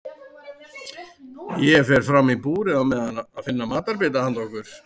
Ég fer fram í búrið á meðan að finna matarbita handa okkur.